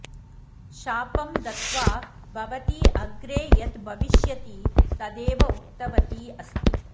शापं दत्त्वा भवती अग्रे यद् भविष्यति तदेव उक्तवती अस्ति